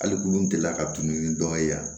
Hali kulu delila ka tununi dɔn yan